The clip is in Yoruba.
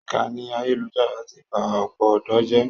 Ìkànnì ayélujára ti ba ọ̀pọ̀ ọ̀dọ́ jẹ́.